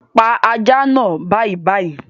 Pa ajá naa bàìbàì